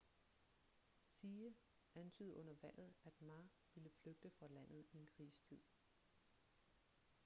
hsieh antydede under valget at ma ville flygte fra landet i en krisetid